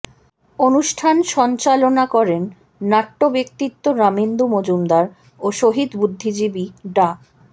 অনুষ্ঠান সঞ্চালনা করেন নাট্য ব্যক্তিত্ব রামেন্দু মজুমদার ও শহীদ বুদ্ধিজীবী ডা